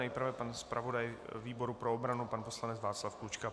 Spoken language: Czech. Nejprve pan zpravodaj výboru pro obranu, pan poslanec Václav Klučka.